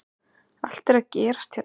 Allt er að gerast hérna!!